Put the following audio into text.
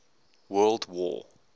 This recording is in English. world war